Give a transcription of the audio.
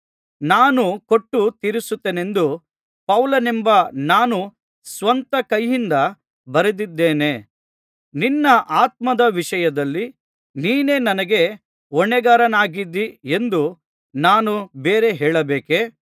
ನಾನೇ ಕೊಟ್ಟು ತೀರಿಸುತ್ತೇನೆಂದು ಪೌಲನೆಂಬ ನಾನು ಸ್ವಂತ ಕೈಯಿಂದ ಬರೆದಿದ್ದೇನೆ ನಿನ್ನ ಆತ್ಮದ ವಿಷಯದಲ್ಲಿ ನೀನೇ ನನಗೆ ಹೊಣೆಗಾರನಾಗಿದ್ದೀ ಎಂದು ನಾನು ಬೇರೆ ಹೇಳಬೇಕೇ